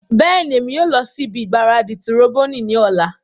Bẹẹni, Emi yoo lọ si ibi gbaradi tiroboni ni ọla